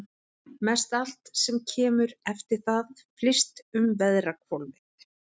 Mestallt sem kemur eftir það flyst um veðrahvolfið.